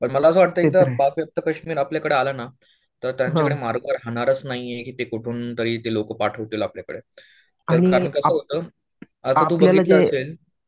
प मला असं वाटतंय इथं कश्मीर आपल्याकडं आला ना, तर त्यांच्याकडे मार्ग काही राहणारच नाहीये की कुठून तरी ते लोकं पाठवतील आपल्याकडे.